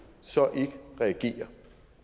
så ikke reagere